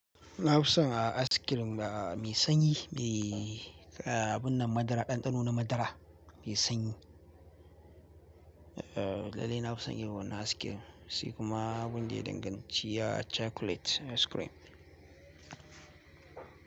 Na fi son a ice-cream a mai sanyi mai abun nan madara, ɗanɗano na madara mai sanyi. Lallai na fi son yiwuwar na ice-cream, sai kuma abun da ya dinga ci ya chocolate ice cream.